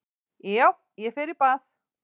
Já, ég fer í bað.